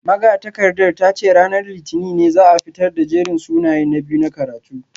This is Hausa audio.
Magatakardar ta ce ranar litinin ne za a fitar da jerin sunayen na biyu na karatu